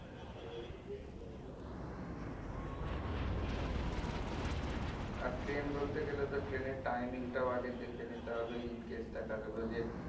আর train ধরতে গেলে তো train এর timing টাও আগে দেখে নিতে হবে In case দেখা গেলো যে